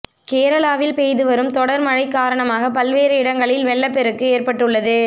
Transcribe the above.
கேரளாவில் பெய்து வரும் தொடர் மழைக் காரணமாக பல்வேறு இடங்களில் வெள்ளப்பெருக்கு ஏற்பட்டு உள்ளது